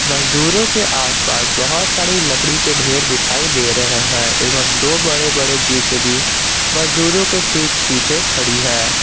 मजदूरों के आस पास बहुत सारी लकड़ी के ढेर दिखाई दे रहे है एवम् दो बड़े बड़े जे_सी_बी मजदूरों के ठीक पीछे खड़ी है।